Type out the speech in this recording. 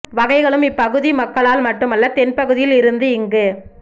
வகைகளும் இப் பகுதி மக்களால் மட்டுமல்ல தென் பகுதியில் இருந்து இங்கு